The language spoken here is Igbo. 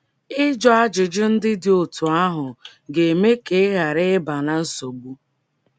Ịjụ ajụjụ ndị dị otú ahụ ga - eme ka ị ghara ịba ná nsogbu.